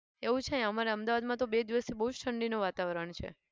એવું છે અમારે અમદાવાદમાં તો બે દિવસથી બહુ જ ઠંડીનું વાતવરણ છે.